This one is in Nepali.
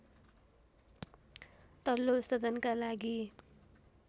तल्लो सदनका लागि